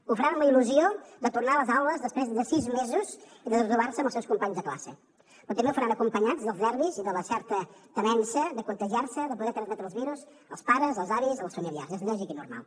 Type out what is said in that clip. ho faran amb la il·lusió de tornar a les aules després de sis mesos de no trobar se amb els seus companys de classe però també ho faran acompanyats dels nervis i de la certa temença de contagiar se de poder transmetre els virus als pares als avis als familiars és lògic i normal